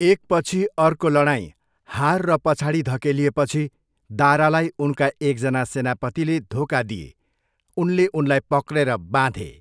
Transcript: एकपछि अर्को लडाइँ, हार र पछाडि धकेलिएपछि दारालाई उनका एकजना सेनापतिले धोका दिए, उनले उनलाई पक्रेर बाँधे।